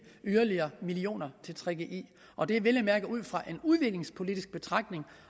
yderligere millioner til gggi og det er vel at mærke ud fra en udviklingspolitisk betragtning